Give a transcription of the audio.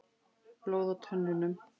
Blóð á tönnunum.